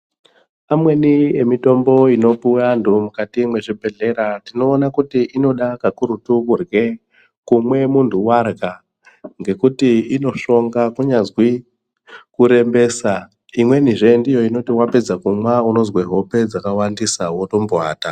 Amweni emitombo inopuwe anthu mukati mwezvibhedhleya tinoone kuti inode kakurutu kumwe munthu warya ngekuti inosvonga kunyazwi kurembesa. Imwenizve ndiyo inoti wapedza kumwa unozwe hope dzakawandisa wotombowata.